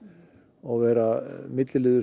og vera milliliður